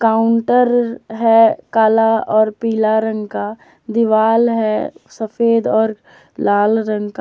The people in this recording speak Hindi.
काउंटर है काला और पीला रंग का दिवाला है सफेद और लाल रंग का।